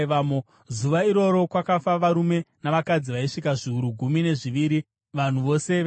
Zuva iroro kwakafa varume navakadzi vaisvika zviuru gumi nezviviri, vanhu vose veAi.